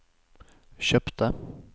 kjøpte